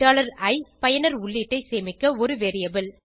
i பயனர் உள்ளீட்டை சேமிக்க ஒரு வேரியபிள்